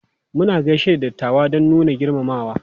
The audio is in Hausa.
Muna gaishe da dattawa don nuna girmamawa.